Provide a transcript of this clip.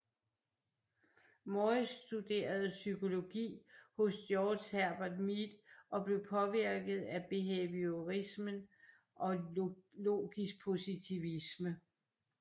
Morris studerede psykologi hos George Herbert Mead og blev påvirket af behaviorismen og logisk positivisme